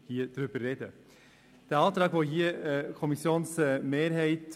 Wir unterstützen den Antrag der Kommissionsmehrheit.